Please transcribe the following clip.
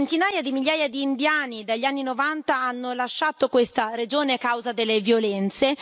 Centinaia di migliaia di indiani, dagli anni Novanta, hanno lasciato questa regione a causa delle violenze.